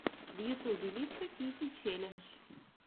в ютубе лиска китти челлендж